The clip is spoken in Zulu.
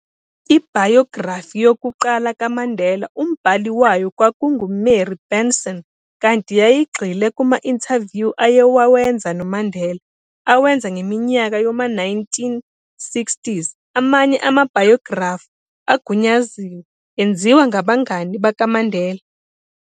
Ibhayografi yokuqala kaMandela, umbhali wayo kwakungu-Mary Benson, kanti yayigxile kuma-interview aye wawenza noMandela, awenza ngeminyaka yoma 1960s Amanye amabhayografi agunyaziwe, enziwa ngabangani bakaMandela.